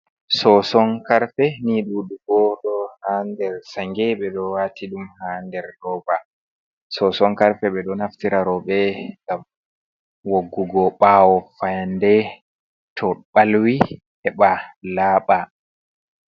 Soson karfe ni duɗugo ɗo ha nder sange ɓedo wati ɗum ha nder roba, soson karfe ɓeɗo naftira roɓe ngam woggugo ɓawo fayande to ɓalwi heɓa laɓa.